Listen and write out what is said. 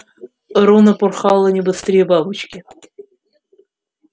рона порхала не быстрее бабочки